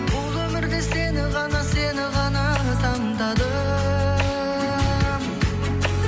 бұл өмірде сені ғана сені ғана таңдадым